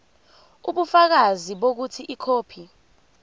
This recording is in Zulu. ubufakazi bokuthi ikhophi